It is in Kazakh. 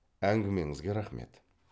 әңгімеңізге рахмет